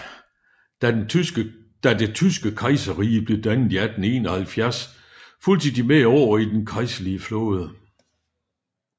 Da det tyske kejserrige blev dannet i 1871 fulgte de med over i den kejserlige flåde